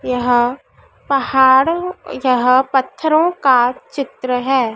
यह पहाड़ यह पत्थरों का चित्र है।